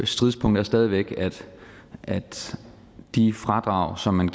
stridspunkt er stadig væk at at de fradrag som man